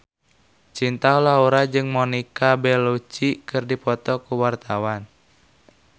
Cinta Laura jeung Monica Belluci keur dipoto ku wartawan